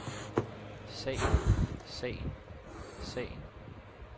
sagen sagen sagen